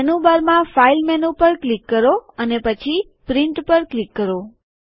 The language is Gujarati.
મેનૂબાર માં ફાઈલ મેનુ પર ક્લિક કરો અને પછી પ્રિન્ટ પર ક્લિક કરો